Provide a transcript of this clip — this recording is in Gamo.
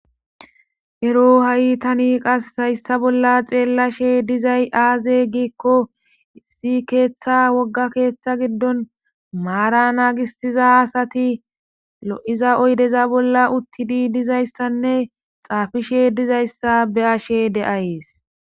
Ero ha''i tani qas hayssa bolla xeellashe dizay aaze giikko isi keeththa wogga keeththa giddon maara naagistiza asati lo''iza oydeza bolla uttidi dizayssanne xaafishe dizayssa be ashe de''ayees.